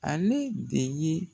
Ale de ye